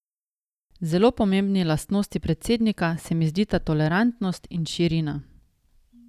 Zelo pomembni lastnosti predsednika se mi zdita tolerantnost in širina.